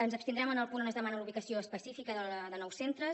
ens abstindrem en el punt on es demana la ubicació específica de nous centres